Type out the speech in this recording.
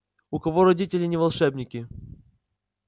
у кого родители не волшебники